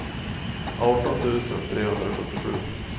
arton tusen trehundrasjuttiosju